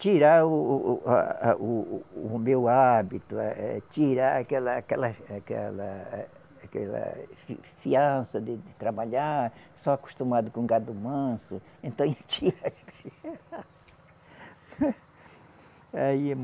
Tirar o o o, a a, o o o meu hábito, eh, eh, tirar aquela aquelas aquela aquelas fi fiança de trabalhar, só acostumado com gado manso, então